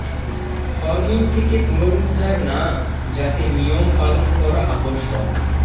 hormone থেকে পুনরুদ্ধার না যাতে নিয়ম পালন করা আবশ্যক